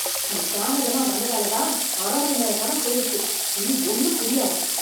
நீ தாமதமா வந்ததால தான், அரை மணி நேரம் படம் போயிருச்சு. இனி ஒண்ணும் புரியாது